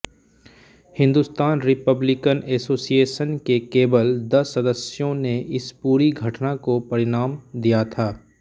Hindustan republican association के केवल दस सदस्यों ने इस पूरी घटना को परिणाम दिया था